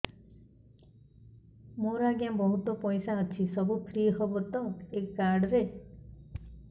ମୋର ଆଜ୍ଞା ବହୁତ ପଇସା ଅଛି ସବୁ ଫ୍ରି ହବ ତ ଏ କାର୍ଡ ରେ